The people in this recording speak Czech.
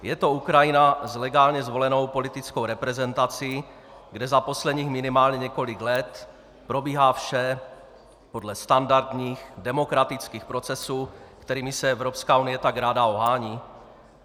Je to Ukrajina s legálně zvolenou politickou reprezentací, kde za posledních minimálně několik let probíhá vše podle standardních demokratických procesů, kterými se Evropské unie tak ráda ohání?